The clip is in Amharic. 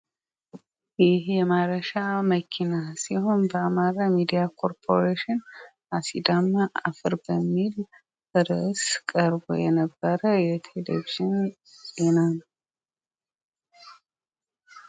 ይሄ ማረሻ መኪና ሲሆን በአማራ ሚዲያ ኮርፖሬሽን አሲዳማ አፈር በሚል እርዕስ ቀርቦ የነበረ የቴሌቬዥን ዜና ነው።